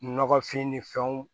Nɔgɔfin ni fɛnw